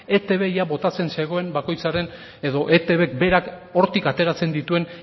eitb ia botatzen zegoen bakoitzaren edo eitbk berak hortik ateratzen dituen